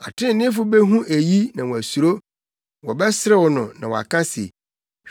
Atreneefo behu eyi na wɔasuro; wɔbɛserew no na wɔaka se,